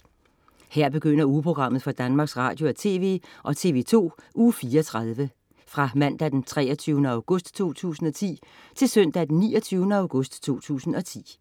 Her begynder ugeprogrammet for Danmarks Radio- og TV og TV2 Uge 34 Fra Mandag den 23. august 2010 Til Søndag den 29. august 2010